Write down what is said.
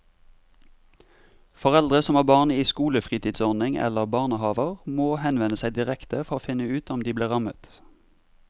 Foreldre som har barn i skolefritidsordning eller barnehaver må henvende seg direkte for å finne ut om de blir rammet.